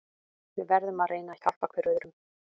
Við verðum að reyna að hjálpa hver öðrum.